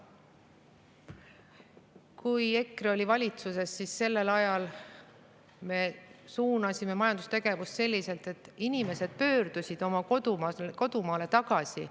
Kui EKRE oli valitsuses, siis sel ajal me suunasime majandustegevust selliselt, et inimesed pöördusid oma kodumaale tagasi.